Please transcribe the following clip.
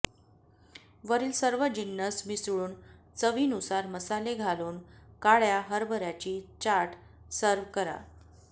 वरील सर्व जिन्नस मिसळून चवीनुसार मसाले घालून काळ्या हरभऱ्याची चाट सर्व्ह करा